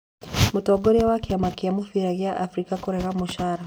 Mũtongoria wa kĩama kĩa mũbira gĩa Afrika kũrega mũcara.